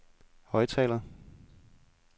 højttaler